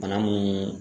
Bana mun